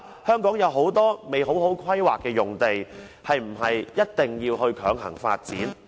香港有很多用地未有完善的規劃，是否一定要強行發展。